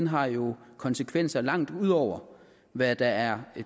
har jo konsekvenser langt ud over hvad der er